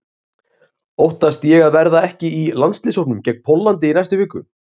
Óttast ég að verða ekki í landsliðshópnum gegn Póllandi í næstu viku?